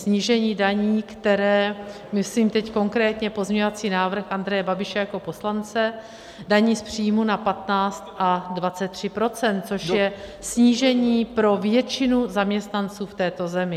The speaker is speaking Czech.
Snížení daní, které - myslím teď konkrétně pozměňovací návrh Andreje Babiše jako poslance - daní z příjmů na 15 a 23 %, což je snížení pro většinu zaměstnanců v této zemi.